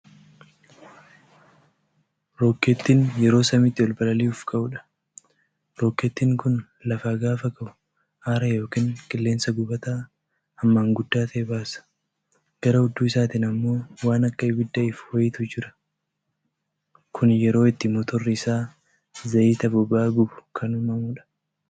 Rokkeettiin yeroo samiitti ol balali'uuf ka'udha. Rokkeettin kun lafaa gaafa ka'u aara yookiin qilleensa gubataa hammaa guddaa ta'e baasa. Gara hudduu isaatiin ammoo waan akka ibidddaa ifu waayiitu irra jira. Kuni yeroo itti motorri isaa zayiita boba'aa gubu kan uumamudha.